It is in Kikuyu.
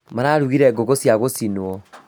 Mararugire ngũkũ cia gũcinwo